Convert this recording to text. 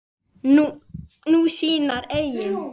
Nú, sínar eigin.